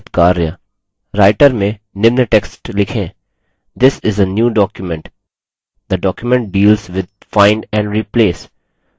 writer में निम्न text लिखेंthis is a new document the document deals with find and replace